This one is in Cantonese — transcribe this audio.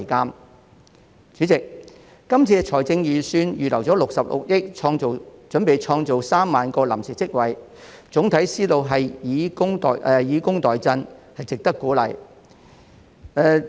代理主席，這份預算案預留了66億元，準備創造3萬個臨時職位，總體思路是以工代賑，值得鼓勵。